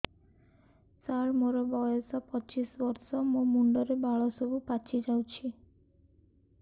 ସାର ମୋର ବୟସ ପଚିଶି ବର୍ଷ ମୋ ମୁଣ୍ଡରେ ବାଳ ସବୁ ପାଚି ଯାଉଛି